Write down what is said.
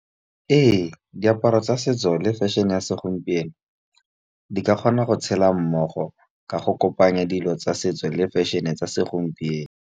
Ee, diaparo tsa setso le fashion-e ya segompieno di ka kgona go tshela mmogo ka go kopanya dilo tsa setso le fashion-e tsa segompieno.